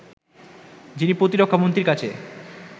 যিনি প্রতিরক্ষা মন্ত্রীর কাছে